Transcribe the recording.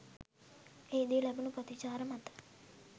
එහිදී ලැබුණු ප්‍රතිචාර මත